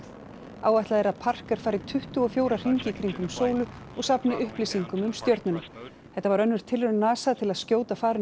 áætlað er að fari tuttugu og fjóra hringi í kringum sólu og safni upplýsingum um stjörnuna þetta var önnur tilraun NASA til að skjóta farinu á